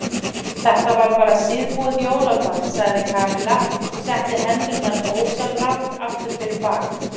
Þetta var bara síðbúið jólakort sagði Kamilla og setti hendurnar ósjálfrátt aftur fyrir bak.